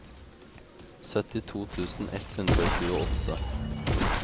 syttito tusen ett hundre og tjueåtte